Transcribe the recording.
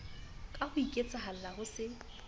ka ho iketsahalla ho se